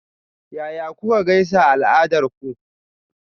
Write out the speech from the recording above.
Yaya kuka gaisa a al'adarku?